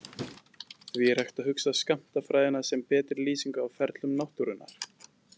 Því er hægt að hugsa skammtafræðina sem betri lýsingu á ferlum náttúrunnar.